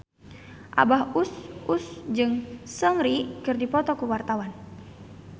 Abah Us Us jeung Seungri keur dipoto ku wartawan